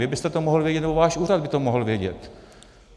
Vy byste to mohl vědět, nebo váš úřad by to mohl vědět.